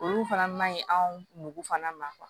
Olu fana ma ɲi anw fana ma